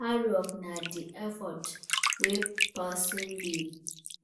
Hardwork na di effort wey person dey